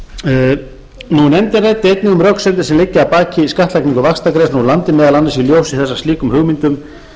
nefndin ræddi einnig um röksemdir sem liggja að baki skattlagningu vaxtagreiðslna úr landi meðal annars í ljósi þess að slíkum hugmyndum